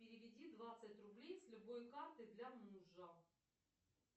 переведи двадцать рублей с любой карты для мужа